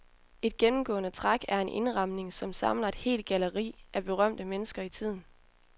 Et gennemgående træk er en indramning, som samler et helt galleri af berømte mennesker i tiden.